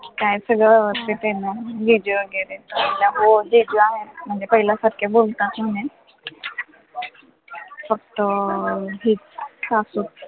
काय सगळं व्यवस्थित आहे ना जिजू वैगरे म्हणजे पहिल्यासारखं बोलता तुम्ही फक्त अं हीच सासूच